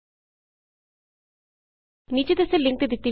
ਨੀਚੇ ਦੱਸੇ ਗਏ ਲਿੰਕ ਤੇ ਦਿਤੀ ਗਈ ਵੀਡੀਊ ਵੇਖੋ